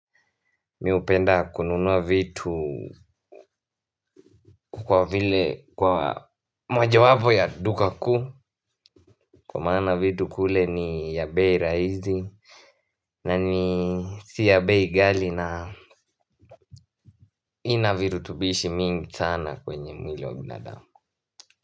Mimi hupenda kununua vitu kwa vile kwa mojawapo ya duka kubwa maana vitu kule ni ya bei rahisi. Na ni si ya bei ghali na inavirutubishi mingi sana kwenye mwili wa binadamu.